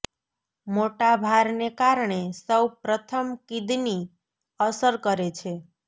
મોટા ભાર કારણે સૌ પ્રથમ કિડની અસર કરે છે